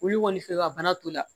Wulu kɔni fɛ bana t'o la